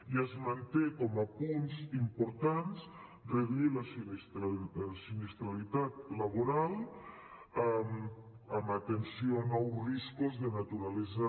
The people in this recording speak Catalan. i es manté com a punts importants reduir la sinistralitat laboral amb atenció a nous riscos de naturalesa